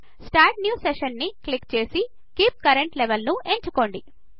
start new Sessionని click చేసి keep current Levelను ఎంచుకోండి